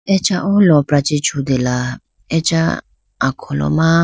acha oh lopra che chutela acha akholo ma.